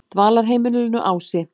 Dvalarheimilinu Ási